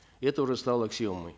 это уже стало аксиомой